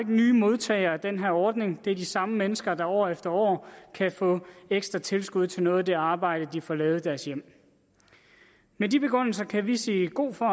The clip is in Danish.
nye modtagere i den her ordning det er de samme mennesker der år efter år kan få ekstra tilskud til noget af det arbejde de får lavet i deres hjem med de begrundelser kan vi sige god for